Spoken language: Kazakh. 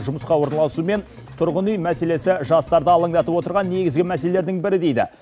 жұмысқа орналасу мен тұрғын үй мәселесі жастарды алаңдатып отырған негізгі мәселелердің бірі дейді